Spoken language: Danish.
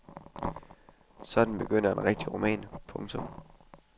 Sådan begynder en rigtig roman. punktum